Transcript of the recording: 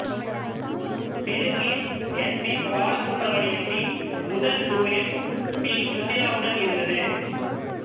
தெலுங்கில் S P பாலசுப்பிரமண்யத்தின் முதல் டூயட் பி சுசீலாவுடன் இருந்தது